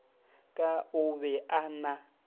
ka o be a na